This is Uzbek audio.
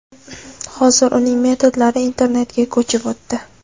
Hozir uning metodlari internetga ko‘chib o‘tdi.